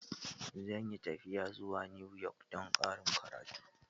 Zan yi tafiya zuwa New York don ƙarin karatu.